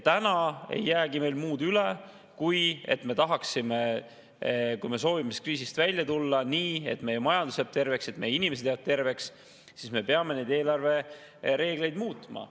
Täna ei jäägi muud üle, kui me soovime kriisist välja tulla nii, et meie majandus jääb terveks, et meie inimesed jäävad terveks, siis me peame neid eelarvereegleid muutma.